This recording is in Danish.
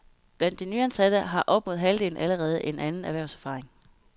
Blandt de nyansatte har op mod halvdelen allerede anden erhvervserfaring.